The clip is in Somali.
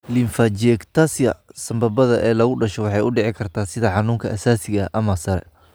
lymphangiectasia sambabada sambabada ee lagu dhasho waxay u dhici kartaa sida xanuunka aasaasiga ah ama sare.